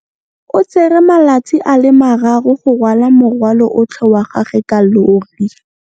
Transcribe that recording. O tsere malatsi a le marraro go rwala morwalo otlhe wa gagwe ka llori.